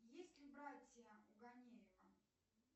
есть ли братья у ганеева